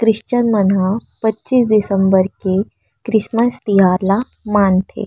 Christian मनह पचीस दिसम्बर के क्रिसमस त्यौहार ला मानथे।